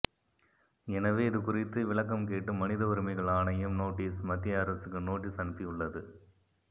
எனவே இதுகுறித்து விளக்கம் கேட்டு மனித உரிமைகள் ஆணையம் நோட்டீஸ் மத்திய அரசுக்கு நோட்டீஸ் அனுப்பியுள்ளது